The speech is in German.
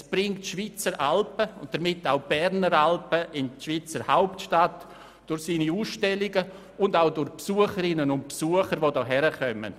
Es bringt die Schweizer Alpen und damit auch die Berner Alpen durch seine Ausstellungen in die Schweizer Hauptstadt und zu den Besucherinnen und Besuchern, die hierherkommen.